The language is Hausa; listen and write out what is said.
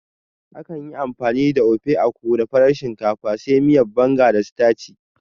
Akan yi amfani da Ofe Akwu da farar shinkafa, sai miyar Banga da sitaci.